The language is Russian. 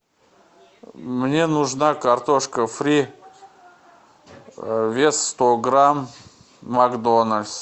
мне нужна картошка фри вес сто грамм макдональдс